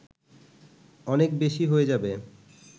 অনেক বেশি হয়ে যাবে